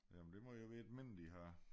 Jamen det må være et minde de har